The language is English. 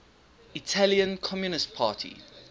italian communist party